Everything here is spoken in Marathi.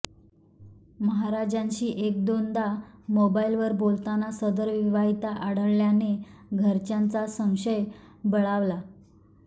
महाराजांशी एक दोनदा मोबाईलवर बोलताना सदर विवाहिता आढळल्याने घरच्यांचा संशय बळावला